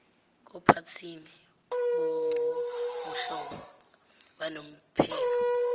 kophathini bobuhlobo banomphelo